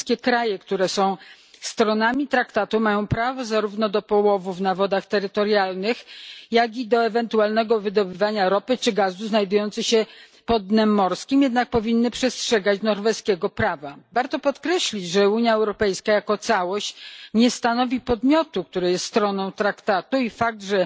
Wszystkie kraje, które są stronami traktatu, mają prawo zarówno do połowów na wodach terytorialnych, jak i do ewentualnego wydobywania ropy czy gazu znajdujących się pod dnem morskim, jednak powinny przestrzegać norweskiego prawa. Warto podkreślić, że Unia Europejska jako całość nie stanowi podmiotu, który jest stroną traktatu, i fakt,